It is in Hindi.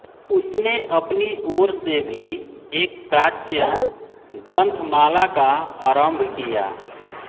उसने अपनी ओर से भी एक प्राच्य ग्रंथमाला का आरंभ किया